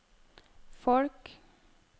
folk